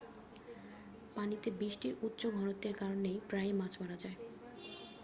পানিতে বিষটির উচ্চ ঘনত্বের কারনে প্রায়ই মাছ মারা যায়